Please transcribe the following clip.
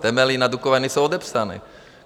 Temelín a Dukovany jsou odepsané.